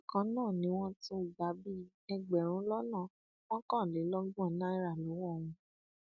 bákan náà ni wọn tún gbà bíi ẹgbẹrún lọnà mọkànlélọgbọn náírà lọwọ wọn